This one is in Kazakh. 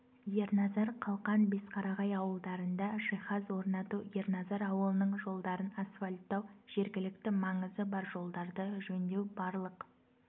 ерназар қалқан бесқарағай ауылдарында жиһаз орнату ерназар ауылының жолдарын асфальттау жергілікті маңызы бар жолдарды жөндеу барлық